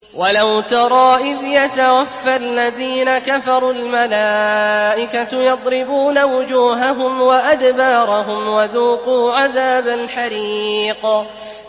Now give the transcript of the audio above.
وَلَوْ تَرَىٰ إِذْ يَتَوَفَّى الَّذِينَ كَفَرُوا ۙ الْمَلَائِكَةُ يَضْرِبُونَ وُجُوهَهُمْ وَأَدْبَارَهُمْ وَذُوقُوا عَذَابَ الْحَرِيقِ